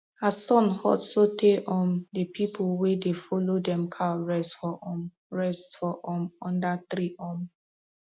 as sun hot so tey um the pple wey dey follow dem cow rest for um rest for um under tree um